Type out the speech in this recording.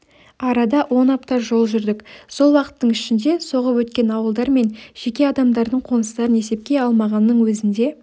арада он апта жол жүрдік сол уақыттың ішінде соғып өткен ауылдар мен жеке адамдардың қоныстарын есепке алмағанның өзінде